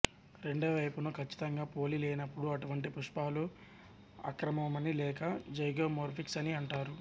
రెండో వైపును కచ్చితంగా పోలి లేనపుడు అటువంటి పుష్ఫాలు అక్రమమని లేక జైగోమొర్ఫిక్ అని అంటారు